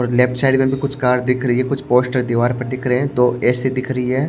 और left side में भी कुछ कार दिख रही है कुछ पोस्टर दीवार पर दिख रहे हैं दो ऐ_सी दिख रही है।